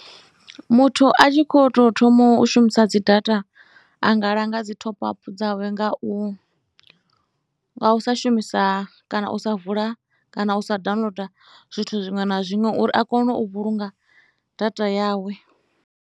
Muthu a tshi khou tou thoma u shumisa dzi data a nga langa dzi top-up dzawe nga u, nga u sa shumisa kana u sa vula kana u sa downloader zwithu zwiṅwe na zwiṅwe uri a kone u vhulunga data yawe.